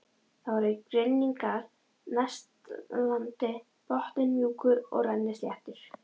Það voru grynningar næst landi, botninn mjúkur og rennisléttur.